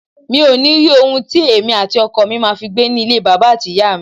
Mi ò ní rí ohun tí èmi àti ọkọ mi ma fi gbé nílé bàbà àti ìyá mi.